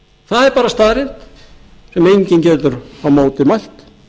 það er bara staðreynd sem enginn getur á móti mælt